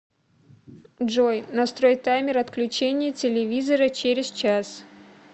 джой настрой таймер отключения телевизора через час